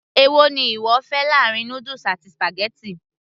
èwo ni ìwọ fẹ́ láàrin noodles àti spaghetti